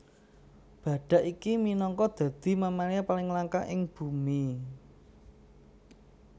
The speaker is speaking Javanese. Badhak iki minangka dadi mamalia paling langka ing bumi